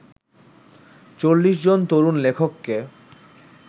৪০ জন তরুণ লেখককে